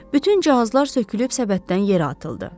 Bütün cihazlar sökülüb səbətdən yerə atıldı.